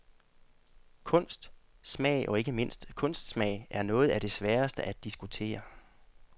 Kunst, smag og ikke mindst kunstsmag er noget af det sværeste at diskutere.